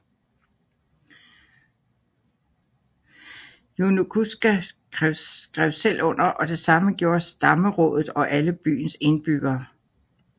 Yonaguska skrev selv under og det samme gjorde stammerådet og alle byens indbyggere